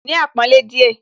Ní àpọ́nlé díẹ̀